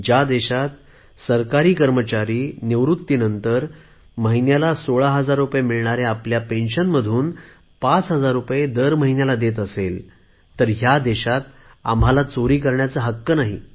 ज्या देशात सरकारी कर्मचारी निवृत्तीनंतर फक्त महिन्याला सोळा हजार रुपये मिळणाऱ्या आपल्या निवृत्ती वेतनामधून स्वच्छता अभियानासाठी पांच हजार रुपये महिन्याला देत असेल तर या देशात आम्हाला कर चोरी करण्याचा हक्क नाही